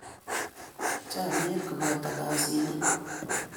Chamiet koboto kashinet